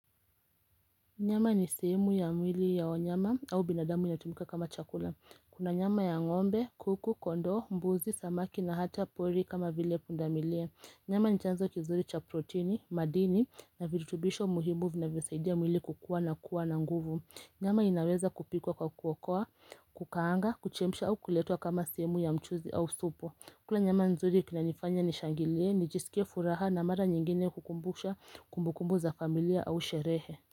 Nyama ni seemu ya mwili ya wanyama au binadamu inatumika kama chakula. Kuna nyama ya ngombe, kuku, kondo, mbuzi, samaki na hata pori kama vile pundamilia. Nyama ni chanzo kizuri cha protini, madini na virutubisho muhimu vinavyosaidia mwili kukua na kuwa na nguvu. Nyama inaweza kupikwa kwa kuokwa, kukaanga, kuchemsha au kuletwa kama seemu ya mchuzi au supu. Kula nyama nzuri kunanifanya nishangilie, nijisikie furaha na mara nyingine kukumbusha kumbukumbu za familia au sherehe.